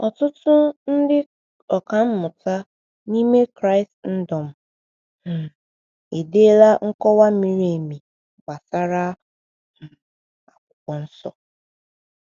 Ọtụtụ ndị ọkà mmụta n’ime Kraịstndọm um edeela nkọwa miri emi gbasara um Akwụkwọ Nsọ.